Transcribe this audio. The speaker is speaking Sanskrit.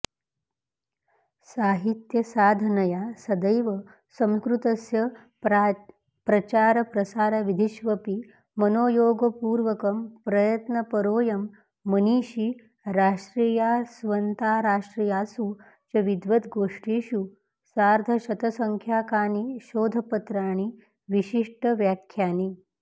साहित्यसाधनया सदैव संस्कृतस्य प्राचरप्रसारविधिष्वपि मनोयोगपूर्वकं प्रयत्नपरोऽयं मनीषी राष्ट्रियास्वन्ताराष्ट्रियासु च विद्वद्गोष्ठीषु सार्द्ध शतसंख्याकानि शोधपत्राणि विशिष्टव्याख्यानि